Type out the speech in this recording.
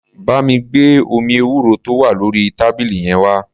Bá mi gbé omi ewúro tó wà lórí tábìlì yẹn wá.